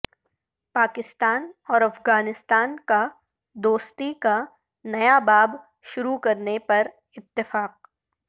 پاکستان اور افغانستان کا دوستی کا نیا باب شروع کرنے پر اتفاق